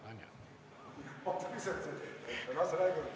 Istungi lõpp kell 15.40.